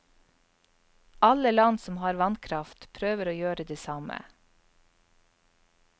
Alle land som har vannkraft, prøver å gjøre det samme.